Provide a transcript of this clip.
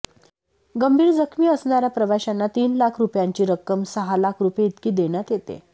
गंभीर जखमी असणाऱया प्रवाशांना तीन लाख रुपयांची रक्कम सहा लाख रुपये इतकी देण्यात येते